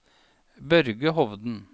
Børge Hovden